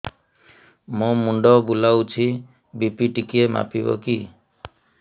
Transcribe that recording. ମୋ ମୁଣ୍ଡ ବୁଲାଉଛି ବି.ପି ଟିକିଏ ମାପିବ କି